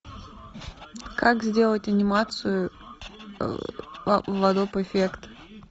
как сделать анимацию в адоб эффект